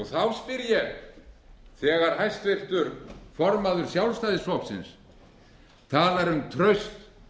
þá spyr ég þegar háttvirtur formaður sjálfstæðisflokksins talar um traust